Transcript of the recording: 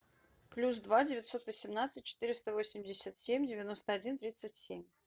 плюс два девятьсот восемнадцать четыреста восемьдесят семь девяносто один тридцать семь